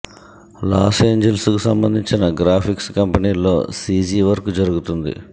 loss Angeles కి సంబంధించిన graphics కంపెనీల్లో సీజీ వర్క్ జరుగుతోంది